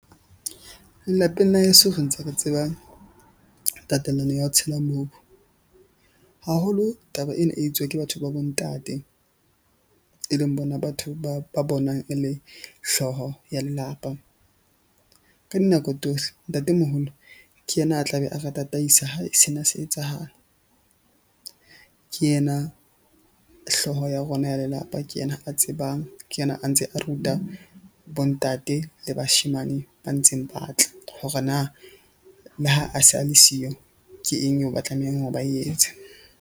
Lelapeng la heso re ntse re tseba tatelano ya ho tshela mobu. Haholo taba ena e etswa ke batho ba bo ntate, e leng bona batho ba bonang e le hlooho ya lelapa ka dinako . Ntatemoholo ke yena a tla be a ra tataisa ha sena se etsahala. Ke yena hlooho ya rona ya lelapa, ke yena a tsebang. Ke yena a ntseng a ruta bo ntate le bashemane ba ntseng ba tla hore na le ha a se a le siyo. Ke eng eo ba tlamehang hore ba e etse.